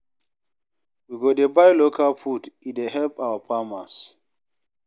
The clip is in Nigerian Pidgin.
We go dey buy local food, e dey help our farmers.